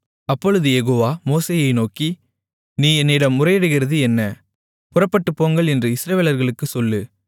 அப்பொழுது யெகோவா மோசேயை நோக்கி நீ என்னிடம் முறையிடுகிறது என்ன புறப்பட்டுப் போங்கள் என்று இஸ்ரவேலர்களுக்குச் சொல்லு